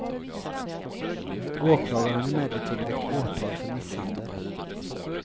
Åklagaren har emellertid väckt åtal för misshandel.